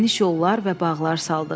Geniş yollar və bağlar saldıq.